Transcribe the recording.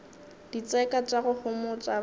ditseka tša go homotša ba